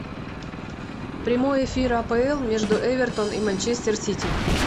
прямой эфир апл между эвертон и манчестер сити